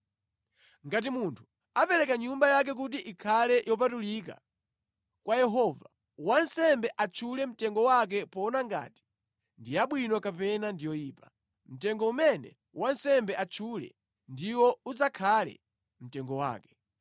“ ‘Ngati munthu apereka nyumba yake kuti ikhale yopatulika kwa Yehova, wansembe atchule mtengo wake poona ngati ndi yabwino kapena ndi yoyipa. Mtengo umene wansembe atchule ndiwo udzakhale mtengo wake.